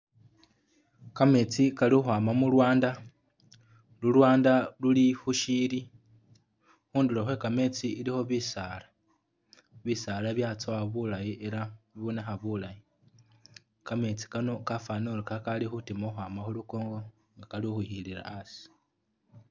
Kametsi kali kukhwama mu lwanda, lu lwanda luli khu syi'ili. Khundulo khwe kameetsi ilikho bisaala. Bisaala byatsowa bulayi ela bibonekha bulayi. Kametsi kano kafwanile uri kakali khutima khukhwama khu lukongo nga kali ukhwikhilila asi.